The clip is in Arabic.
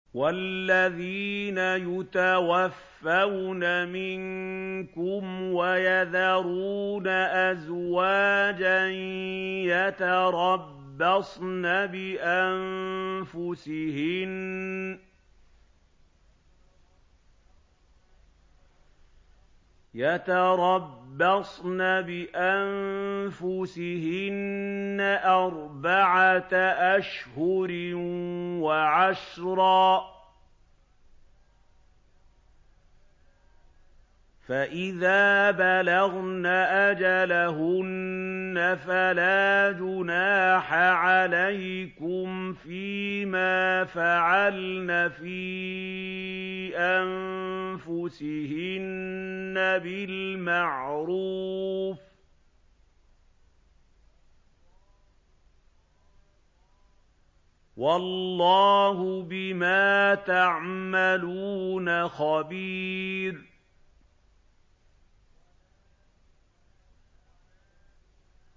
وَالَّذِينَ يُتَوَفَّوْنَ مِنكُمْ وَيَذَرُونَ أَزْوَاجًا يَتَرَبَّصْنَ بِأَنفُسِهِنَّ أَرْبَعَةَ أَشْهُرٍ وَعَشْرًا ۖ فَإِذَا بَلَغْنَ أَجَلَهُنَّ فَلَا جُنَاحَ عَلَيْكُمْ فِيمَا فَعَلْنَ فِي أَنفُسِهِنَّ بِالْمَعْرُوفِ ۗ وَاللَّهُ بِمَا تَعْمَلُونَ خَبِيرٌ